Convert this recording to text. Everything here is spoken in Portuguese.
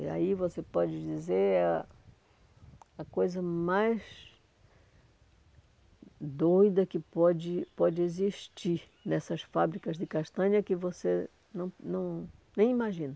E aí você pode dizer a a coisa mais doida que pode pode existir nessas fábricas de castanha que você não não nem imagina.